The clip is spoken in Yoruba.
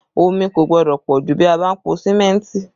Omi kò gbọ́dọ̀ pọ jù bí a bá ń po símẹ́ntì